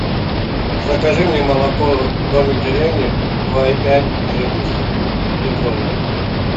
закажи мне молоко домик в деревне два и пять жирности литровую